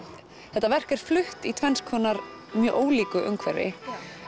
þetta verk er flutt í tvennskonar mjög ólíku umhverfi